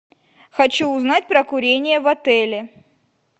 хочу узнать про курение в отеле